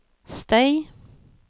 støy